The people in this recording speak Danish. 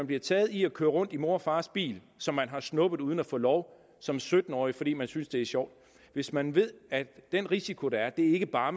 blive taget i at køre rundt i mors og fars bil som man har snuppet uden at få lov som sytten årig fordi man synes det er sjovt og hvis man ved at den risiko der er ikke bare